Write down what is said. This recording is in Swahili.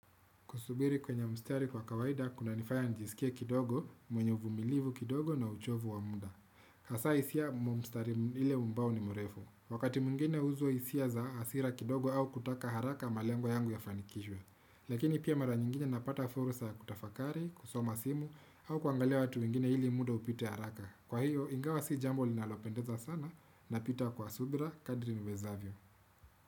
Kusubiri kwenye mstari kwa kawaida, kunanifanya njisikie kidogo, mwenye uvumilivu kidogo na uchovu wa muda. Hasa hisia mwa mstari ile ambao ni mrefu. Wakati mwingine huzua hisia za hasira kidogo au kutaka haraka malengo yangu yafanikishwe Lakini pia mara nyingine napata fursa ya kutafakari, kusoma simu, au kuangalia watu wengine ili muda upite haraka. Kwa hiyo, ingawa si jambo linalopendeza sana napita kwa subira kadri niwezavyo.